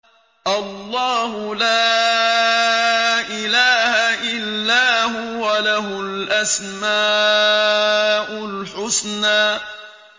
اللَّهُ لَا إِلَٰهَ إِلَّا هُوَ ۖ لَهُ الْأَسْمَاءُ الْحُسْنَىٰ